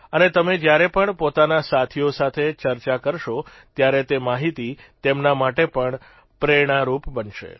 અને તમે જયારે પણ પોતાના સાથીઓ સાથે ચર્ચા કરશો ત્યારે તે માહિતી તેમના માટે પણ પ્રેરણારૂપ બનશે